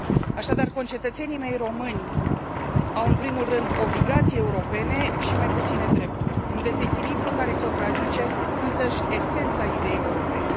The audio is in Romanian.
Așadar, concetățenii mei români au în primul rând obligații europene și mai puține drepturi, un dezechilibru care contrazice însăși esența ideii europene.